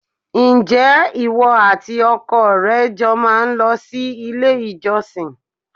Ǹjẹ́ ìwọ àti ọkọ rẹ jọ má ń lọ sí ilé-ìjọsìn?